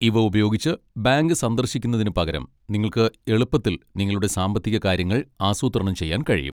ഇവ ഉപയോഗിച്ച്, ബാങ്ക് സന്ദർശിക്കുന്നതിനുപകരം നിങ്ങൾക്ക് എളുപ്പത്തിൽ നിങ്ങളുടെ സാമ്പത്തിക കാര്യങ്ങൾ ആസൂത്രണം ചെയ്യാൻ കഴിയും.